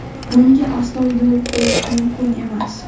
Bunga aslo yo‘l qo‘yish mumkin emas!